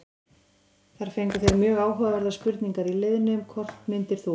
Þar fengu þeir mjög áhugaverðar spurningar í liðnum: Hvort myndir þú?